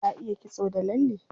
Ta iya kitso da lalle.